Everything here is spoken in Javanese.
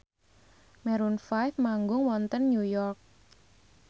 Maroon 5 manggung wonten New York